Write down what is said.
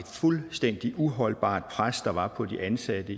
fuldstændig uholdbart pres der var på de ansatte